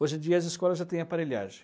Hoje em dia as escolas já têm aparelhagem.